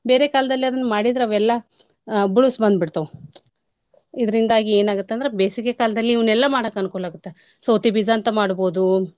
ಬೇರೇ ಕಾಲ್ದಲ್ಲಿ ಅದ್ನ ಮಾಡಿದ್ರ ಅವೆಲ್ಲಾ ಆ ಬುಳ್ಸ್ ಬಂದ್ಬಿಡ್ತಾವೂ. , ಇದ್ರಿಂದಾಗಿ ಏನ್ ಆಗುತ್ ಅಂದ್ರ ಬೇಸಿಗೆ ಕಾಲ್ದಲ್ಲಿ ಇವ್ನೆಲ್ಲ ಮಾಡಕ್ ಅನ್ಕೂಲಾಗುತ್ತ ಸೋತಿಬೀಜ ಅಂತ್ ಮಾಡ್ಬೋದು.